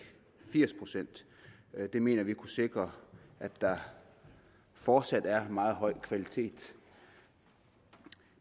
firs procent det mener vi kunne sikre at der fortsat er en meget høj kvalitet